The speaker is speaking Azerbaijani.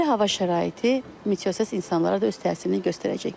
Belə hava şəraiti meteohəssas insanlara da öz təsirini göstərəcək.